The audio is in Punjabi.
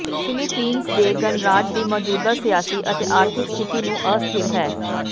ਫਿਲੀਪੀਨਜ਼ ਦੇ ਗਣਰਾਜ ਦੀ ਮੌਜੂਦਾ ਸਿਆਸੀ ਅਤੇ ਆਰਥਿਕ ਸਥਿਤੀ ਨੂੰ ਅਸਥਿਰ ਹੈ